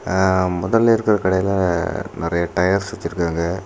ஆ மொதல இருக்குற கடையில நெறைய டயர்ஸ் வச்சிருக்காங்க.